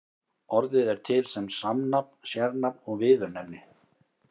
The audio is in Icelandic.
Orðið er til sem samnafn, sérnafn og viðurnefni.